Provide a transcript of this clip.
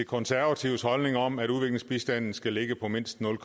konservatives holdning om at udviklingsbistanden skal ligge på mindst nul